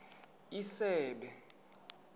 isebe